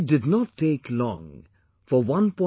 It did not take long for 1